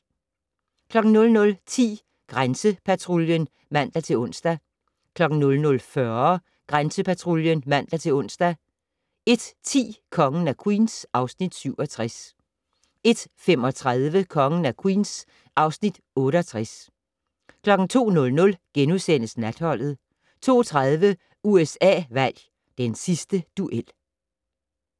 00:10: Grænsepatruljen (man-ons) 00:40: Grænsepatruljen (man-ons) 01:10: Kongen af Queens (Afs. 67) 01:35: Kongen af Queens (Afs. 68) 02:00: Natholdet * 02:30: USA-valg: Den sidste duel